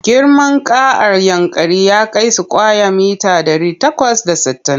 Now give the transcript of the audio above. Girman ƙaaar Yankari ya kai sukwaya mita ɗari takwas da sittin.